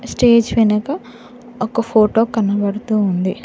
Stage వెనక ఒక photo కనబడుతూ ఉంది.